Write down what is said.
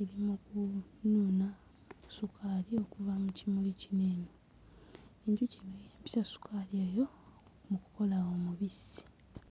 eri mu kunuuna ssukaali okuva mu kimuli kino eno, enjuki eno yeeyambisa ssukaali oyo okukola omubisi.